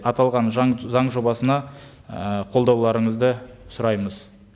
аталған заң жобасына ы қолдауларыңызды сұраймыз